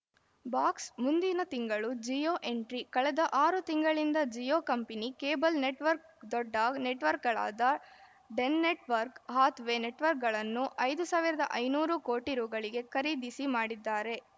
box ಮುಂದಿನ ತಿಂಗಳು Jio entry ಕಳೆದ ಆರು ತಿಂಗಳಿಂದ ಜಿಯೋ ಕಂಪನಿ ಕೇಬಲ್‌ ನೆಟ್ವರ್ಕ್ ದೊಡ್ಡ ನೆಟ್‌ವರ್ಕ್ಗಳಾದ Den network Hathway ನೆಟ್‌ ವರ್ಕ್ಗಳನ್ನು ಐದು ಐದುನೂರು ಕೋಟಿ ರುಗಳಿಗೆ ಖರೀದಿಸಿ ಮಾಡಿದ್ದಾರೆ